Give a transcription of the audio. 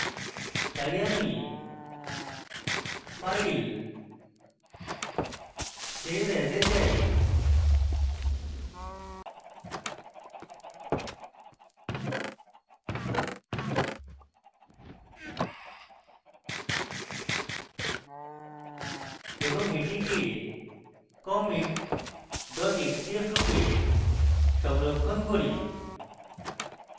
তাই আমি file save as এ যাই এবং এটিকে comicxcf রূপে সংরক্ষণ করি